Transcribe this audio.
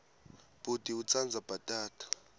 bhuti utsandza bhatata